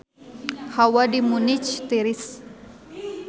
Hawa di Munich tiris